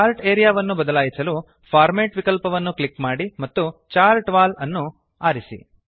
chart area ವನ್ನು ಬದಲಾಯಿಸಲು format format ವಿಕಲ್ಪನ್ನು ಕ್ಲಿಕ್ ಮಾಡಿ ಮತ್ತು ಚಾರ್ಟ್ ವಾಲ್ ಅನ್ನು ಆರಿಸಿ